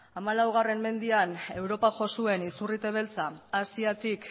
hamalaumendean europa jo zuen izurrite beltza asiatik